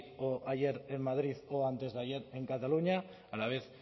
o ayer en madrid o antes de ayer en cataluña a la vez